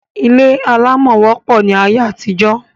Ilé alámọ̀ wopọ̀ ní ayé àtijọ́